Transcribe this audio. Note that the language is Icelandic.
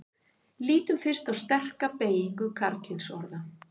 lítum fyrst á sterka beygingu karlkynsorða